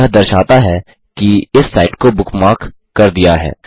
यह दर्शाता है कि इस साइट को बुकमार्क कर दिया है